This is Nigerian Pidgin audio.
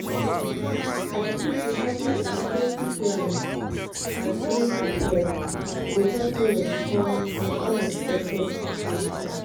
I dey think say having emergency plans and staying prepared go help you respond to unexpected situations.